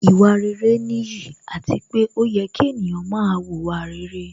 Ìwà rere nìyí, àti pé ó yẹ kí ènìyàn máa wùwà rere